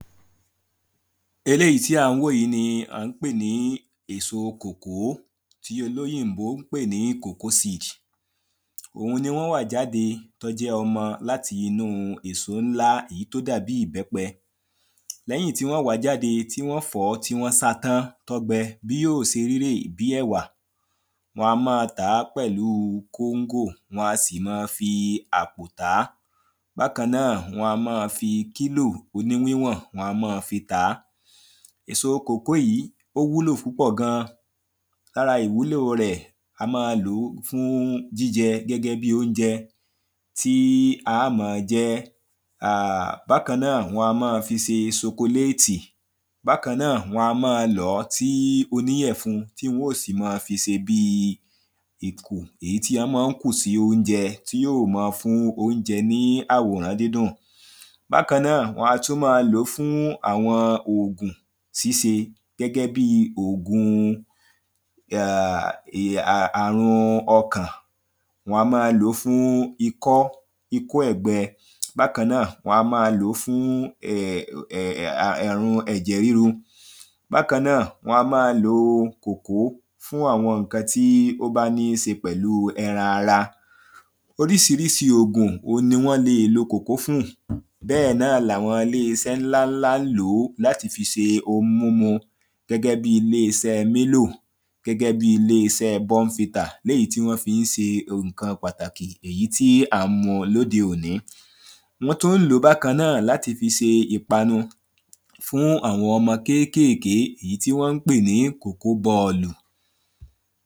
eléyìí tí à ń wò yìí ni à ń pè ní èso kòkó, tí olóyìnbó ń pè ní coacoa seed òun ni wọ́n wà jáde tí ó jẹ́ ọmọ láti inú èso ńlá èyí tó dàbi ìbẹ́pẹ Lẹ́yìn tí wọ́n wàá jáde, tí wọ́n fọ̀ọ́, tí wọ́n sáa tán, tó gbẹ, bí yó ṣe rí rèé, bíi ẹ̀wà wọn á máa tàá pẹ̀lu kóńgò, wọn a sì máa fi àpò tàá bákan náà wọn á máa fi kílò oní wíwọ̀n wọn á máa fi tàá èso kòkó yìí ó wúlò púpọ̀ gan, ara ìwúlo rẹ, a máa lòó fún jíjẹ gẹ́gẹ́ bíi óúnjẹ tí a má ń jẹ. bákan náà wọn á máa fi ṣe ṣokoléètì, bákan náà wọ́n a máa lọ̀ọ́ si oníyẹ̀fun, tí wọ́n máa fi ṣe bí ìkù, èyí tí wọ́n ma ń kù sí óúnjẹ tí yóò ma fún óúnjẹ ní àwòrán dídùn bákan náà wọn a tún máa lòó fún àwọn ògùn ṣíṣe gẹ́gẹ́ bíi ògun àrun ọkàn wọn á máa lòó fún ikọ́, ikọ́ ẹ̀gbẹ, bákan náà wọn a máa lòó fún àrun ẹ̀jẹ̀ rírú bákan náà wọn á máa lo kòkó fún àwọn ǹkan tí ó bá níṣe pẹ̀lu ẹran ara oríṣiríṣi ògùn ni wọ́n lè lo kòkó fún, bẹ́ẹ̀ náà ni àwọn iléeṣẹ ńlá-ńlá ń lòó fi ṣe ohun mímu gẹ́gẹ́ bíi ilééṣẹ Milo, gẹ́gẹ́ bíi ilééṣẹ Bournvita léyìí tí wọ́n fi ń ṣe ǹkan pàtàkì èyí tí à ń mu ní òde òní wọ́n tún ń lòó bákan náà láti fi ṣe ìpanu fún àwọn ọmọ kékèké, èyí tí wọ́n ń pè ní kókó bọọ̀lù